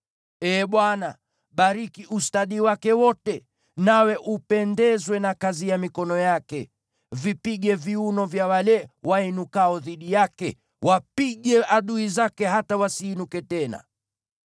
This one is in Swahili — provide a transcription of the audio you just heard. Ee Bwana , bariki ustadi wake wote, nawe upendezwe na kazi ya mikono yake. Vipige viuno vya wale wainukao dhidi yake; wapige adui zake hata wasiinuke tena.”